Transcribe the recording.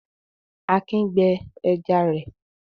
Akin gbẹ ẹja rẹ̀.